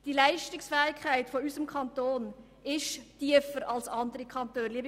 Die Leistungsfähigkeit in unserem Kanton ist tiefer als in anderen Kantonen.